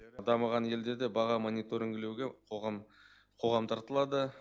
дамыған елдерде баға мониторингілеуге қоғам қоғам тартылады